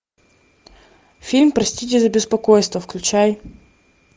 фильм простите за беспокойство включай